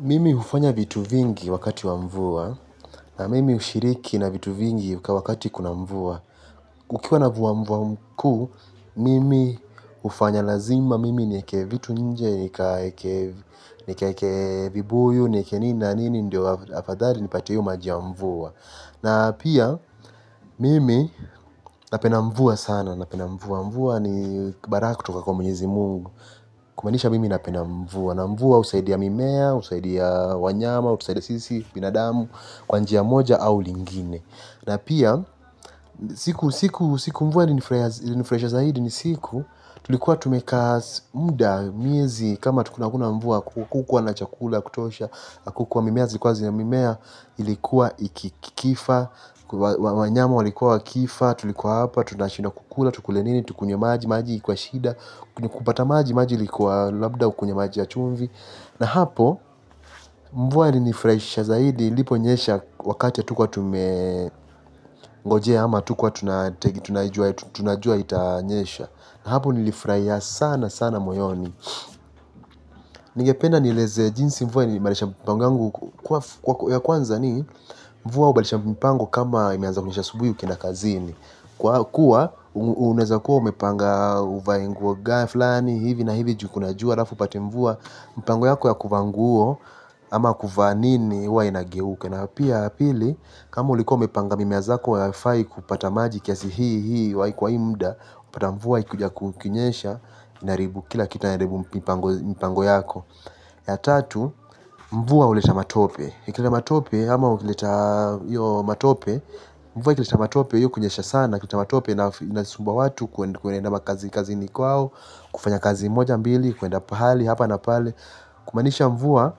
Mimi hufanya vitu vingi wakati wa mvua, na mimi hushiriki na vitu vingi wakati kuna mvua. Ukiwa na mvua mvua mkuu, mimi hufanya lazima, mimi nieke vitu nje, nikaeke vibuyu, nieke nini na nini, ndio afadhali, nipate hiyo maji ya mvua. Na pia, mimi napenda mvua sana, napenda mvua mvua ni baraka kutoka kwa mwenyezi mungu. Kumaanisha mimi napenda mvua. Na mvua husaidi mimea, husaidia wanyama husaidia sisi, binadamu. Kwa nji moja au lingine. Na pia, siku mvua ili nifuraisha zaidi ni siku tulikuwa tumekaa muda, miezi, kama hatukua na mvua. Kukuwa na chakula, kutosha. Kukuwa mimea, zikuwa zina mimea. Ilikuwa ikikifa. Wanyama walikuwa wakifa. Tulikuwa hapa, tunashindwa kukula. Tukule nini, tukunywe maji, maji, ikuwa shida. Kupata maji maji ilikuwa labda ukunywe maji ya chumvi. Na hapo mvua ilinifurahisha zaidi iliponyesha wakati hatukuwa tumengojea ama hatukuwa tunajua itanyesha. Na hapo nilifurahia sana sana moyoni. Nigependa nilezee jinsi mvua ilibadilisha mpango wangu. Kwa ya kwanza ni mvua hubadilisha mpango. Kama imeanza kunyesha subuhi ukienda kazini. Kwa kuwa uneweza kuwa umepanga uvae nguo fulani hivi na hivi ju kuna jua alafa upate mvua mpango yako ya kuvaa nguo. Ama kuvaa nini huwa inageuka na pia pili. Kama ulikuwa umepanga mimea zako haifai kupata maji kiasi hii hii kwa hii muda upata mvua ikuja kukinyesha na inaharibu. Kila kita inaharibu mpango yako. Ya tatu mvua huleta matope ikileta matope ama ukileta. Yo matope. Mvua ikileta matope hiyo kunyesha sana. Kuleta matope inasumba watu. Kwende makazi kazini kwao. Kufanya kazi moja mbili, kuenda pahali hapa na pale. Kumaanisha mvua.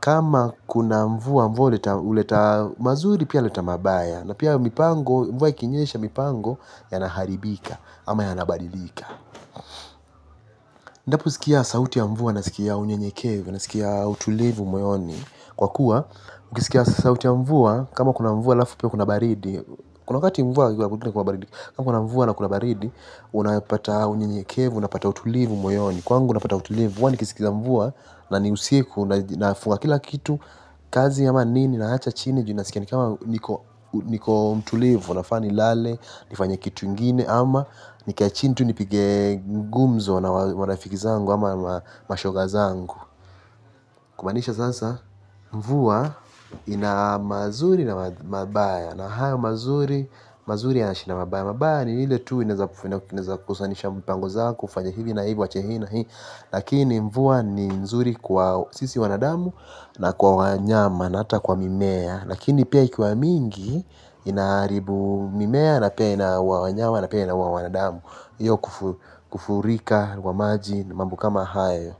Kama kuna mvua mvua huleta mazuri pia huleta mabaya na pia mvua ikinyesha mvua yanaharibika ama yanabadilika. Ninaposikia sauti ya mvua nasikia unyenyekevu nasikia utulivu moyoni. Kwa kuwa, mkisikia sauti ya mvua. Kama kuna mvua halafu pia kuna baridi. Kuna wakati mvua kuna kuna baridii. Kama kuna mvua na kuna baridi. Unapata unyenyekevu, unapata utulivu moyoni. Kwangu napata utulivu, huwa nikisikiza mvua na ni usiku nafua kila kitu kazi ama nini naacha chini. Juu nasikia nikama niko mtulivu, nafaa nilale, nifanye kitu ingine ama nikae chini tu nipige gumzo na marafiki zangu ama mashoga zangu. Kumaanisha sasa mvua ina mazuri na mabaya na hayo mazuri, mazuri yanashinda mabaya mabaya ni ile tu inawezesha kukosanisha mpango zako ufanye hivi na hivi uache hii na hii. Lakini mvua ni nzuri kwa sisi wanadamu na kwa wanyama na hata kwa mimea. Lakini pia ikiwa mingi inaharibu mimea na pia inawaua wanyama na pia inawaua wawanadamu. Hiyo kufurika wa maji mambo kama hayo.